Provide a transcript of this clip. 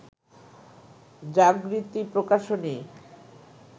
Jagriti Prakashani